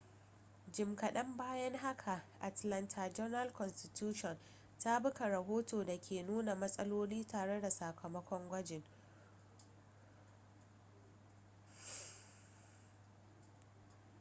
jim kaɗan bayan haka atlanta journal-constitution ta buga rahoton da ke nuna matsaloli tare da sakamakon gwajin